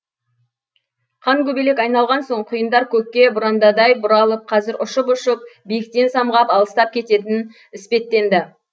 қан көбелек айналған сол құйындар көкке бұрандадай бұралып қазір ұшып ұшып биіктен самғап алыстап кететін іспеттенді